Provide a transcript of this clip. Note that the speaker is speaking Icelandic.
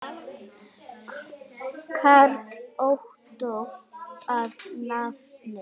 Karl Ottó að nafni.